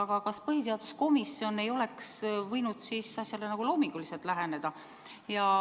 Aga kas põhiseaduskomisjon ei oleks võinud asjale nagu loominguliselt läheneda?